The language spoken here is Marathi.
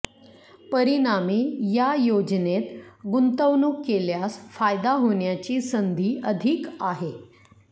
परिणामी या योजनेत गुंतवणूक केल्यास फायदा होण्याची संधी अधिक आहे